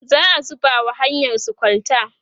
za'a zuba wa hanyarsu kwalta